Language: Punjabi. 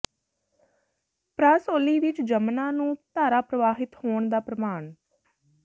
ਪਰਾਸੌਲੀ ਵਿੱਚ ਜਮੁਨਾ ਨੂੰ ਧਾਰਾ ਪ੍ਰਵਾਹਿਤ ਹੋਣ ਦਾ ਪ੍ਰਮਾਣ ਸ